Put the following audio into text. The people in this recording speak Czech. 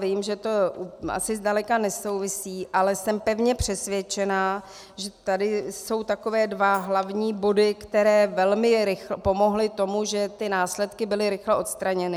Vím, že to asi zdaleka nesouvisí, ale jsem pevně přesvědčená, že tady jsou takové dva hlavní body, které velmi pomohly tomu, že ty následky byly rychle odstraněny.